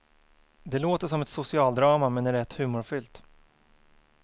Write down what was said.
Det låter som ett socialdrama, men är rätt humorfyllt.